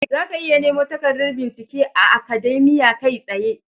Zaka iya nemo takardar bincike a Akademiya kai tsaye.